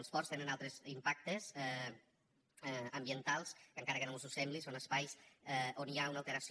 els ports tenen altres impactes ambientals que encara que no mos ho sembli són espais on hi ha una alteració